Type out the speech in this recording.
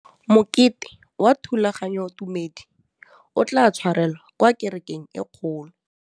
Mokete wa thulaganyôtumêdi o tla tshwarelwa kwa kerekeng e kgolo.